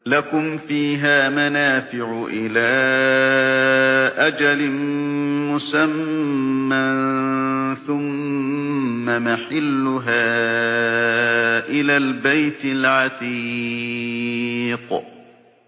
لَكُمْ فِيهَا مَنَافِعُ إِلَىٰ أَجَلٍ مُّسَمًّى ثُمَّ مَحِلُّهَا إِلَى الْبَيْتِ الْعَتِيقِ